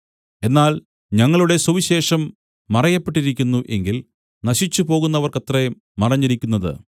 എന്നാൽ ഞങ്ങളുടെ സുവിശേഷം മറയപ്പെട്ടിരിക്കുന്നു എങ്കിൽ നശിച്ചുപോകുന്നവർക്കത്രേ മറഞ്ഞിരിക്കുന്നത്